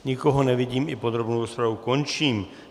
Nikoho nevidím, i podrobnou rozpravu končím.